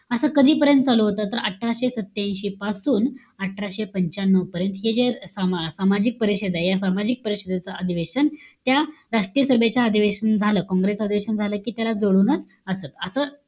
असं कधी पर्यंत चालू होतं? तर अठराशे सत्यांशी पासून अठराशे पंच्यान्नव पर्यंत. हे जे अं सामा सामाजिक परिषदय. या सामाजिक परिषदेचं अधिवेशन त्या राष्ट्रीय सभेच्या अधिवेशन झालं, काँग्रेस अधिवेशन झालं कि त्यालाच जोडूनच असं-असं,